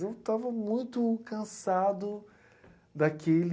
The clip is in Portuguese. Eu estava muito cansado daquele...